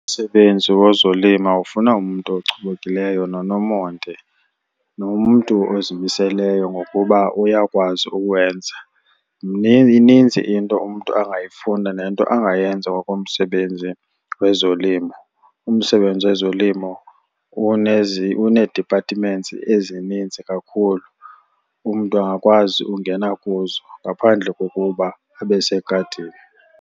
Umsebenzi wozolima ufuna umntu ochubekileyo nonomonde nomntu ozimiseleyo ngokuba uyakwazi uwenza. Ininzi into umntu angayifunda nento angayenza ngokomsebenzi wezolimo. Umsebenzi wezolimo unee-departments ezininzi kakhulu. Umntu angakwazi ukungena kuzo ngaphandle kokuba abe segadini.